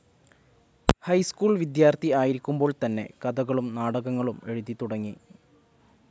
High school വിദ്യാർത്ഥി ആയിരിക്കുമ്പോൾ തന്നെ കഥകളും നാടകങ്ങളും എഴുതിത്തുടങ്ങി.